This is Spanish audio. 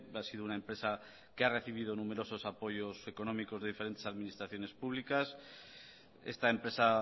ha sido una empresa que ha recibido numerosos apoyos económicos de diferentes administraciones públicas esta empresa